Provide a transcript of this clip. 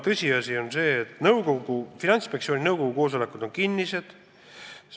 Tõsiasi on see, et Finantsinspektsiooni nõukogu koosolekud on kinnised.